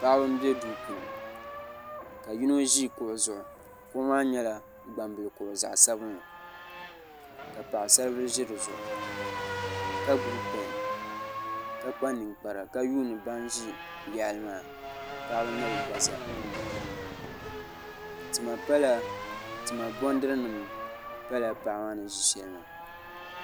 paɣba n bɛ do puuni ka yino ʒɛ kuɣ' zuɣ' kuɣ' maa nyɛla gbabili kuɣ' zaɣ sabinli ka paɣ' saribili ʒɛ di zuɣ ka gbabi pɛni ka kpa nɛkpara ka yuni ban ʒɛ yaɣili maa paɣba nyɛ be gbazaa tima bɛnidirinim pala paɣ maa ni ʒɛ shɛli maa